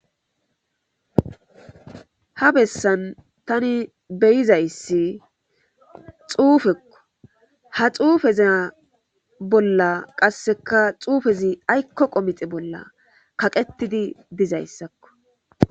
Ha besan tani beyzayssi xuffekko ha xufezza bolla xufezi ayko qomixxe bola kaqetidi dizysakko.